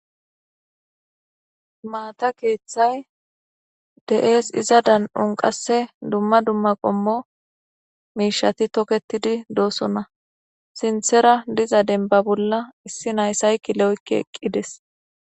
maata kethay de'ese iza dan'on qase dumma dumma qommo mishai toketidi dosona sinthera diza denba bolla issi nayi saykile oyki eqides